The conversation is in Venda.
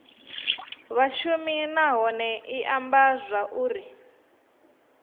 vhashumi nahone i amba zwauri